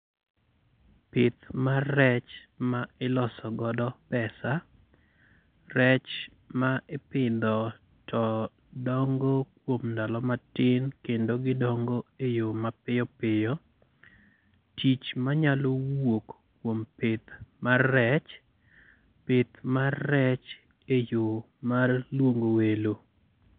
Pith mar rech ma iloso godo pesa: rech ma ipidho to dongo kuom ndalo matin kendo gidongo e yo mapiyo piyo. Tich manyalo wuok kuom pith mar rech: pith mar rech e yo mar luongo welo.